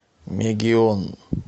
мегион